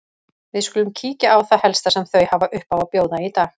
Við skulum kíkja á það helsta sem þau hafa upp á að bjóða í dag.